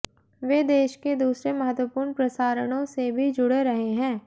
वे देश के दूसरे महत्वपूर्ण प्रसारणों से भी जुड़े रहे हैं